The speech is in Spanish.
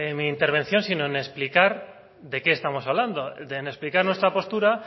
mi intervención sino en explicar de qué estamos hablando en explicar nuestra postura